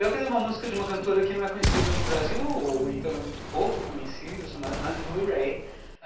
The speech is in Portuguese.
Eu queria uma música de uma cantora que não é conhecida no Brasil, ou então ela é muito pouco conhecida, chamada Anne Murray.